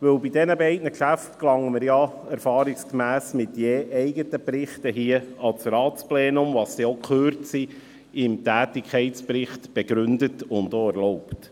Bei diesen Geschäften gelangen wir ja erfahrungsgemäss mit je eigenen Berichten an das Ratsplenum, was dann die Kürze im Tätigkeitsbericht begründet und erlaubt.